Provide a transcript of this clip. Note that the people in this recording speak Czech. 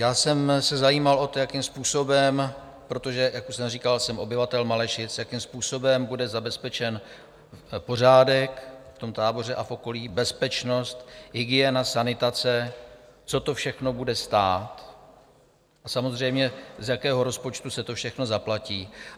Já jsem se zajímal o to, jakým způsobem, protože, jak už jsem říkal, jsem obyvatel Malešic, jakým způsobem bude zabezpečen pořádek v tom táboře a v okolí, bezpečnost, hygiena, sanitace, co to všechno bude stát, a samozřejmě, z jakého rozpočtu se to všechno zaplatí.